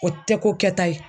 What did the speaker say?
O tɛ ko kɛta ye.